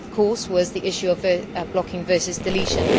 this of course was the issue of blocking versus deletion.